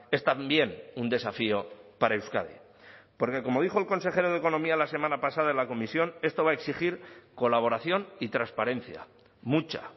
es también un desafío para euskadi porque como dijo el consejero de economía la semana pasada en la comisión esto va a exigir colaboración y transparencia mucha